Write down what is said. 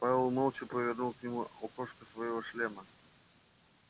пауэлл молча повернул к нему окошко своего шлема